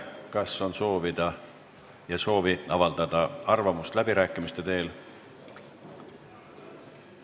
Kas on soovi avaldada arvamust läbirääkimiste teel?